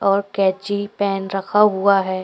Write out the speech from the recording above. और कैची पैन रखा हुआ है।